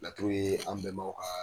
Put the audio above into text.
Laturu ye an bɛnbaw ka